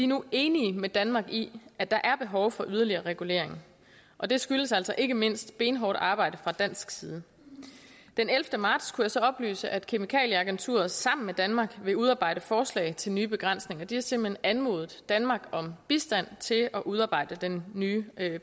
nu enige med danmark i at der er behov for yderligere regulering og det skyldes altså ikke mindst benhårdt arbejde fra dansk side den ellevte marts kunne jeg så oplyse at kemikalieagenturet sammen med danmark vil udarbejde forslag til nye begrænsninger de har simpelt hen anmodet danmark om bistand til at udarbejde den nye